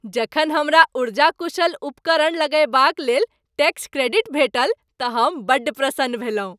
जखन हमरा ऊर्जा कुशल उपकरण लगयबाक लेल टैक्स क्रेडिट भेटल तँ हम बड्ड प्रसन्न भेलहुँ।